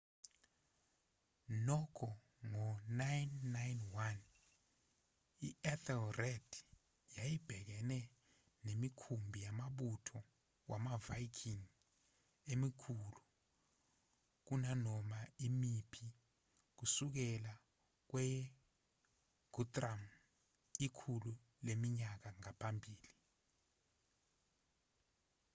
nokho ngo-991 i-ethelred yayibhekene nemikhumbi yamabutho wamaviking emikhulu kunanoma imiphi kusukela kweyeguthrum ikhulu leminyaka ngaphambili